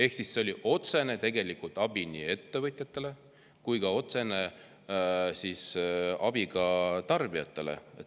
See oli tegelikult otsene abi nii ettevõtjatele kui ka tarbijatele.